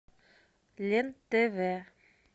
лен тв